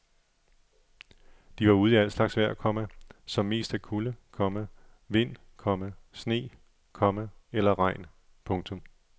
De var ude i al slags vejr, komma som mest er kulde, komma vind, komma sne, komma eller regn. punktum